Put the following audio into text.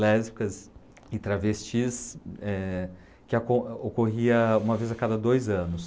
lésbicas e travestis, eh, que a com, ocorria uma vez a cada dois anos.